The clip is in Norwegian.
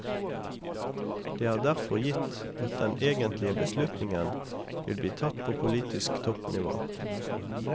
Det er derfor gitt at den egentlige beslutningen vil bli tatt på politisk toppnivå.